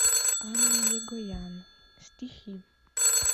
анна егоян стихи